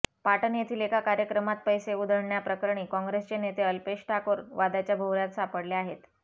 पाटण येथील एका कार्यक्रमात पैसे उधळल्या प्रकरणी काँग्रेसचे नेते अल्पेश ठाकोर वादाच्या भोवऱ्यात सापडले आहेत